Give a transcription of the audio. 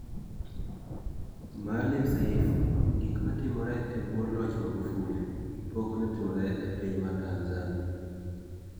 Maalim Seif: Gik ma timore e bwo loch Magufuli, pok ne otimore e piny mar Tanzania